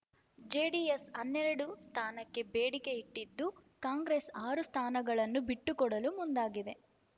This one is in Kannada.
ಜೆಡಿಎಸ್‌ ಹನ್ನೆರಡು ಸ್ಥಾನಕ್ಕೆ ಬೇಡಿಕೆ ಇಟ್ಟಿದ್ದು ಕಾಂಗ್ರೆಸ್ ಆರು ಸ್ಥಾನಗಳನ್ನು ಬಿಟ್ಟುಕೊಡಲು ಮುಂದಾಗಿದೆ